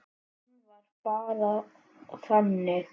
Hann var bara þannig.